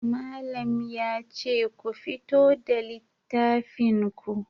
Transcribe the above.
Malam yace ku fito da littafin ku.